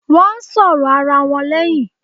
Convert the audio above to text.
Won ń sọ̀rọ̀ ara wọn leyin